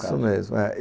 Isso mesmo.